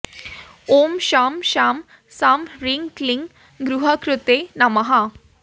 ॐ शं शां षं ह्रीं क्लीं ग्रहकृते नमः